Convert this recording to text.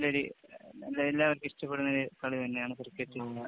എല്ലാവര്‍ക്കും ഇഷ്ടപ്പെടുന്ന ഒരു കളി തന്നെയാണ് ക്രിക്കറ്റ്.ഗെയിം.